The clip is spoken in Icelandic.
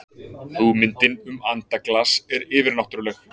hugmyndin um andaglas er yfirnáttúrleg